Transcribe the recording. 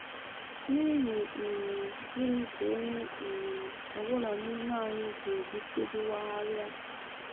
N’ihi um gịnị ka onye um ọ bụla n’ime anyị ga - ejitụdị wagharịa?